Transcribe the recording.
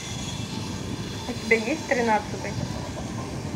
у тебя есть тринадцатый